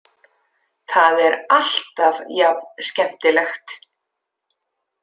Það er alltaf jafn skemmtilegt.